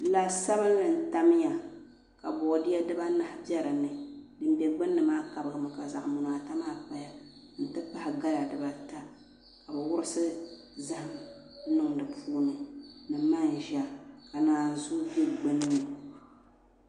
La sabinli n tamya ka boodiyɛ dibaanahi bɛ di puuni din bɛ gbunni maa kabigimi ka zaɣ munaa ta maa paya n ti pahi gala dibata ka bi wurisi zaham n niŋ di puuni ni manʒa ka naanzuu bɛ gbunni